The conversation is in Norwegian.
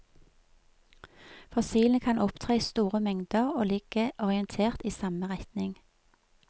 Fossilene kan opptre i store mengder og ligge orientert i samme retning.